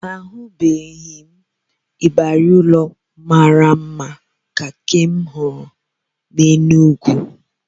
Ahụbeghị m ịbarị ụlọ mara mma ka nke m hụrụ n'Enugu